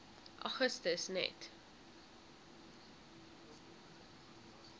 augustus net